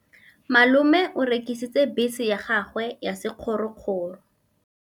Malome o rekisitse bese ya gagwe ya sekgorokgoro.